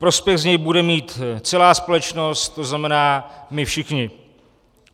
Prospěch z něj bude mít celá společnost, to znamená my všichni.